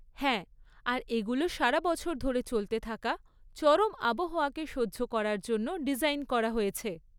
হ্যাঁ, আর এগুলো সারা বছর ধরে চলতে থাকা চরম আবহাওয়াকে সহ্য করার জন্য ডিজাইন করা হয়েছে।